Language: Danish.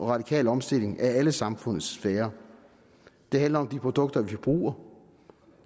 radikal omstilling af alle samfundets sfærer det handler om de produkter vi forbruger